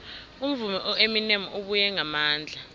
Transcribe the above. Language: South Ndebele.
umvumi ueminem ubuye ngamandla